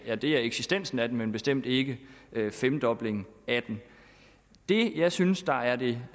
ja det er eksistensen af den men bestemt ikke femdoblingen af den det jeg synes der er det